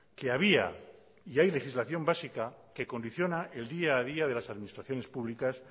que había y hay legislación básica que condiciona el día a día de las administraciones públicas